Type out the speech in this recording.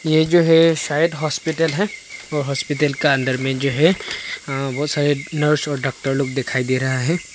ये जो है शायद हॉस्पिटल है और हॉस्पिटल का अंदर में जो है बहुत सारे नर्स और डॉक्टर लोग दिखाई दे रहा है।